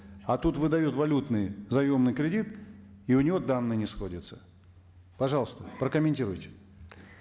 а тут выдают валютный заемный кредит и у него данные не сходятся пожалуйста прокомментируйте